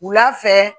Wula fɛ